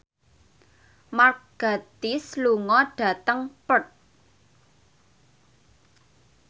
Mark Gatiss lunga dhateng Perth